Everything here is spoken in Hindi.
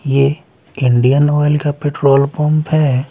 ये इंडियन ऑयल का पेट्रोल पंप हैं।